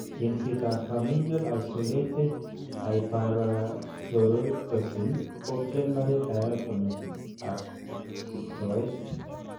Chengseet ab familial isolated hyperparatyroidism ko primary diagnosis ab istoeet